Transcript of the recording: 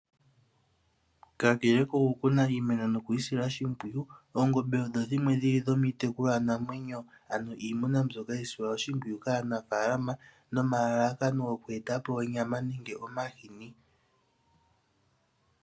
Kakele koku kuna iimeno noku yi sila oshimpwiyu, oongombe odho dhimwe dho miitekulwanamwenyo na ohadhi munwa kaanafaalama nomalalakano ga yooloka ngaashi oku eta po onyama, omahini nosho woo oshipa shoka hashi longithwa oku etapo oongaku nomapaya.